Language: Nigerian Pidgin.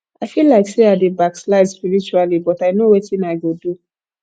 i feel like say i dey backslide spiritually but i no wetin i go do